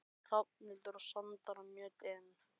Hrafnhildur og Sandra Mjöll: Inn?